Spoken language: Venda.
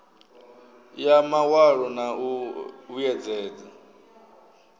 ya mawalo na u vhuedzedza